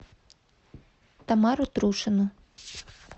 тамару трушину